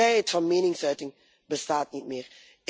Vrijheid van meningsuiting bestaat niet meer.